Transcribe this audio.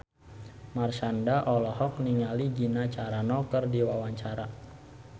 Marshanda olohok ningali Gina Carano keur diwawancara